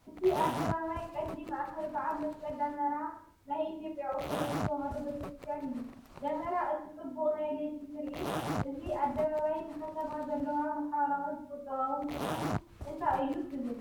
እዚ ኣደባባይ ቀንዲ ማእከል በዓል መስቀል ደመራ ናይ ኢትዮጵያ ኦርቶዶክስ ተዋህዶ ቤተክርስትያን እዩ። ደመራ እቲ ጽቡቕ ናይ ለይቲ ትርኢት፡ እዚ ኣደባባይ ንከተማ ዘለዎ ማሕበራውን ቁጠባውን ትርጉም እንታይ እዩ ትብል?